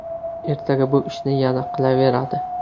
Ertaga bu ishni yana qilaveradi.